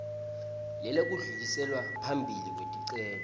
lelekudluliselwa phambili kweticelo